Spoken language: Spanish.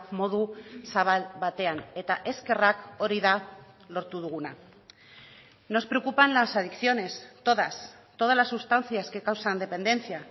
modu zabal batean eta eskerrak hori da lortu duguna nos preocupan las adicciones todas todas las sustancias que causan dependencia